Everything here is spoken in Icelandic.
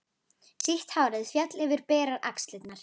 Sítt hárið féll yfir berar axlirnar.